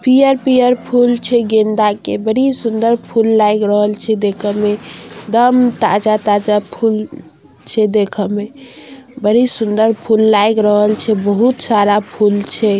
पियर पियर फुल छे गेंदा के बड़े सुन्दर फुल लाग रहील छे देखे में दम ताजा ताजा फुल छे देखे में बड़ी सुन्दर फुल लाग रहील छे बहुत सारा फुल छे ।